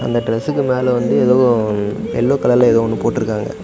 இந்த டிரஸ்க்கு மேல வந்து ஏதோ எல்லோ கலர்ல ஏதோ ஒன்னு போட்டுருக்காங்க.